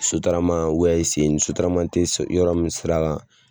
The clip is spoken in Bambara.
sen tɛ yɔrɔ min sira la